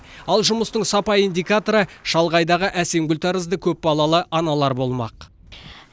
ал жұмыстың сапа индикаторы шалғайдағы әсемгүл тәрізді көпбалалы аналар болмақ